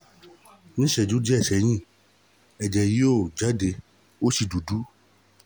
nih ìṣẹ́jú díẹ̀ sẹ́yìn ẹjẹ̀ yọ jade ó sì dúdú